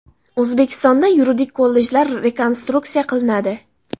O‘zbekistonda yuridik kollejlar rekonstruksiya qilinadi.